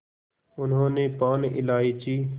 उन्होंने पान इलायची